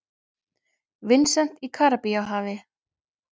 Vincent í Karíbahafi.